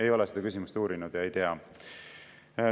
Ei ole seda küsimust uurinud ja ei tea.